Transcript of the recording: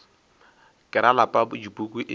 ke ra lapa dipuku e